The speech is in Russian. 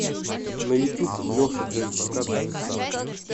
на ютуб леша джей пока давит саб